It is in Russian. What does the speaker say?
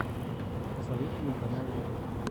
посоветуй мне каналы ютуб